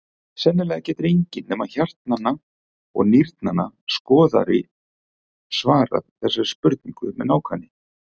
Sennilega getur enginn nema hjartnanna og nýrnanna skoðari svarað þessari spurningu með nákvæmni.